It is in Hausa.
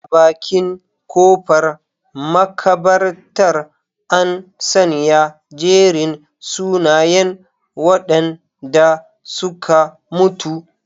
A bakin kofar makabartar, an sanya jerin sunayen wadanda suka mutu.